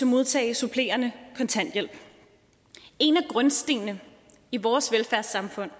modtage supplerende kontanthjælp en af grundstenene i vores velfærdssamfund